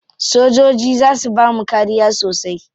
Sojoji za su bamu kariya sosai.